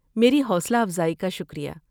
میری حوصلہ افزائی کا شکریہ۔